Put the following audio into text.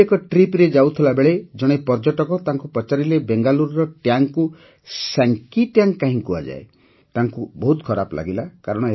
ଏହିଭଳି ଏକ Tripରେ ଯାଉଥିଲାବେଳେ ଜଣେ ପର୍ଯ୍ୟଟକ ତାଙ୍କୁ ପଚାରିଲେ ବେଙ୍ଗାଲୁରୁରେ ଟ୍ୟାଙ୍କକୁ ସ୍ୟାଙ୍କୀଟ୍ୟାଙ୍କ କାହିଁକି କୁହାଯାଏ ତାଙ୍କୁ ବହୁତ ଖରାପ ଲାଗିଲା